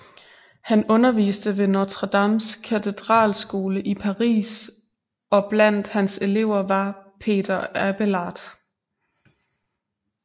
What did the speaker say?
Han underviste ved Notre Dames katedralskole i Paris og blandt hans elever var Peter Abelard